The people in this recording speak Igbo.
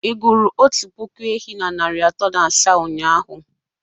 Ị gụrụ otu puku ehi na narị atọ na asaa ụnyahụ?